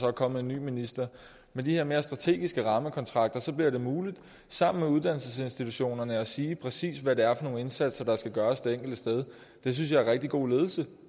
er kommet en ny minister med de her mere strategiske rammekontrakter bliver det muligt sammen med uddannelsesinstitutionerne at sige præcis hvad det er nogle indsatser der skal gøres det enkelte sted det synes jeg er rigtig god ledelse